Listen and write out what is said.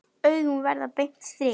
Augun verða beint strik.